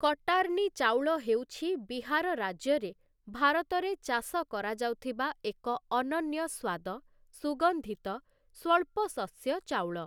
କଟାର୍ନି ଚାଉଳ ହେଉଛି ବିହାର ରାଜ୍ୟରେ ଭାରତରେ ଚାଷ କରାଯାଉଥିବା ଏକ ଅନନ୍ୟ ସ୍ୱାଦ, ସୁଗନ୍ଧିତ, ସ୍ୱଳ୍ପ ଶସ୍ୟ ଚାଉଳ ।